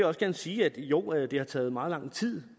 også gerne sige at jo det har taget meget lang tid